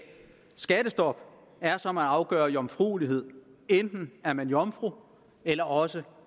skattestop er som at afgøre jomfruelighed enten er man jomfru eller også